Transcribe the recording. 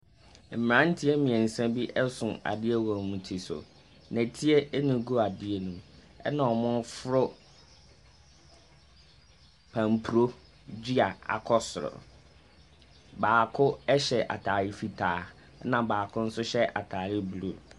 Mmeranteɛ bi so adeɛ wɔ wɔn ti so, nnɛteɛ na agu adeɛ ne mu, na wɔreforo pamporo dua akɔ soro, baako hyɛ ataade fitaa na baako hyɛ ataadeɛ blue.